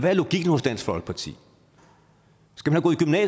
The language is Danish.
er logikken hos dansk folkeparti